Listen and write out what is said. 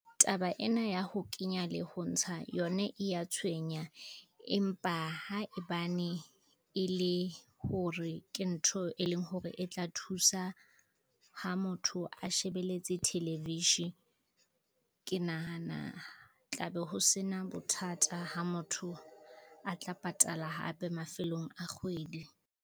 Taba ena ya ho kenya le ho ntsha yona e ya tshwenya, empa haebane e le hore ke ntho e leng hore e tla thusa, ha motho a shebeletse thelevishe. Ke nahana tla be ho se na bothata ha motho a tla patala hape mafelong a kgwedi.